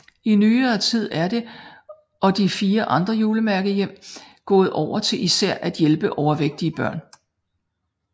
I nyere tid er det og de fire andre julemærkehjem gået over til især at hjælpe overvægtige børn